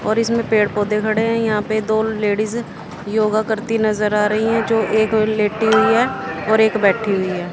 और इसमें पेड़ पौधे खड़े हैं यहां पे दो लेडीज योगा करती नज़र आ रही है जो एक लेटी हुई है और एक बैठी हुई है।